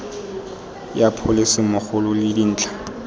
ya pholese mmogo le dintlha